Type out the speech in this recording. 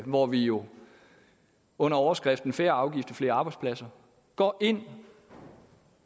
hvor vi jo under overskriften færre afgifter flere arbejdspladser går ind